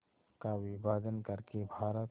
का विभाजन कर के भारत